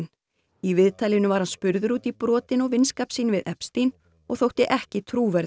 í viðtalinu var hann spurður út í brotin og vinskap sinn við og þótti ekki trúverðugur